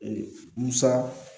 Ee musa